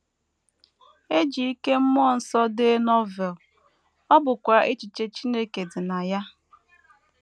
E ji ike mmụọ nsọ dee Novel, ọ bụkwa echiche Chineke dị na ya.